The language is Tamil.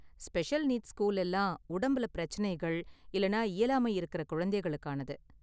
ஸ்பெஷல் நீட்ஸ் ஸ்கூல் எல்லாம் உடம்புல பிரச்சனைகள் இல்லனா இயலாமை இருக்குற குழந்தைகளுக்கானது.